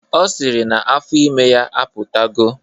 Ọ sịrị na afọ ime ya apụtago